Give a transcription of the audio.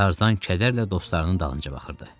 Tarzan kədərlə dostlarının dalınca baxırdı.